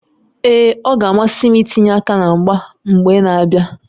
Ee, ọ ga-amasị m itinye aka na mgba mgba na-abịa